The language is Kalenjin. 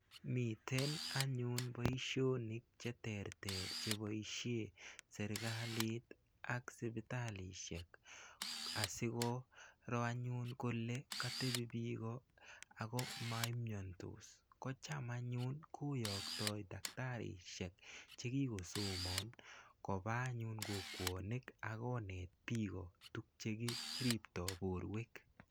Miten anyun poishonik che terter che poishe setkalit ak sipitakishek asi koro anyun kole katepi piiko ako ma imiandos. Ko cham anyun koyaktai daktarishek che kikosoman kopa anyun kokwanik ak koneet piko che tuguk che kiriptai porwek.